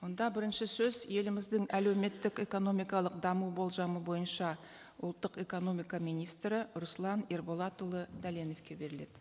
онда бірінші сөз еліміздің әлеуметтік экономикалық даму болжамы бойынша ұлттық экономика министрі руслан ерболатұлы дәленовке беріледі